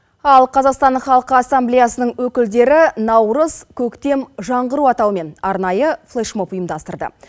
ал қазақстанның халқы ассамблеясының өкілдері наурыз көктем жаңғыру атауымен арнайы флешмоб ұйымдастырды